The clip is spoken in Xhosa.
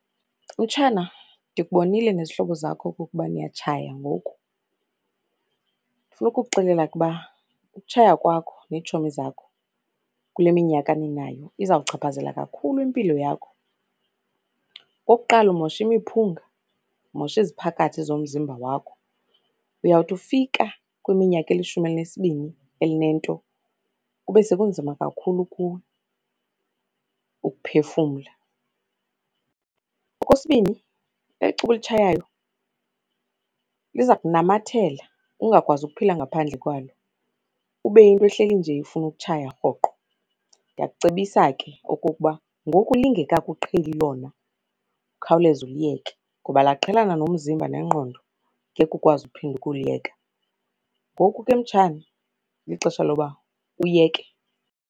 Mtshana, ndikubonile nezihlobo zakho okokuba niyatshaya ngoku. Ndifuna ukuxelela ukuba ukutshaya kwakho neetshomi zakho kule minyaka ninayo izawuchaphazela kakhulu impilo yakho. Okokuqala umosha imiphunga, umosha iziphakathi zomzimba wakho. Uyawuthi ufika kwiminyaka elishumi elinesibini elinento kube sekunzima kakhulu kuwe ukuphefumla. Okwesibini, eli cuba ulitshayayo liza kunamathela, ungakwazi ukuphila ngaphandle kwalo, ube yinto ehleli nje ifuna ukutshaya rhoqo. Ndiyakucebisa ke okokuba ngoku lingekakuqheli lona ukhawuleze uliyeke. Ngoba laqhelana nomzimba nengqondo, ngeke ukwazi uphinde ukuliyeka. Ngoku ke mtshana lixesha loba uyeke.